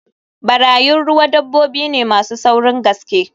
Barayin ruwa dabbobi ne masu saurin gaske